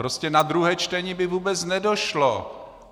Prostě na druhé čtení by vůbec nedošlo.